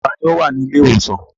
Ta ni ó wà ní ilé-ìwòsàn?